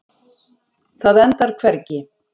Það endar hvergi.